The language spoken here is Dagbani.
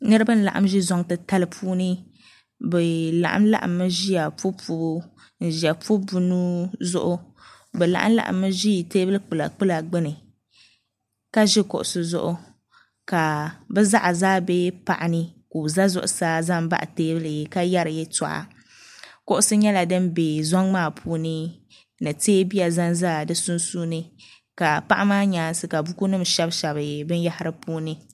niriba lagim ʒɛ zuŋ ti tali puuni bɛ laɣim zaya pubipu buu nuu zuɣ' bɛ laɣim laɣim mi ʒɛ tɛbuli kpala kpla gbani ʒɛ kuɣisi zuɣ' ka bɛ zaɣ' bɛ paɣ' ni ka o za bɛ tuuni zuɣ' saa zan baɣ' bɛ tuuni ka yɛri yɛtuɣ' kugisi nyɛla din bɛ zuŋ maa puuni ni tɛbuya zan za be sunsuuni ka paɣ' maa nyɛɛsi ka buku nim shɛbi bɛnyahira puuni